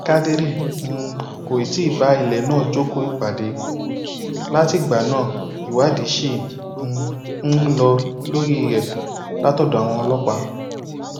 kádírì um kò tí ì bá ilẹ náà jókòó ìpàdé látìgbà náà ìwádìí ṣì um ń lọ lórí rẹ látọdọ àwọn ọlọpàá